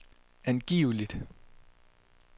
angiveligt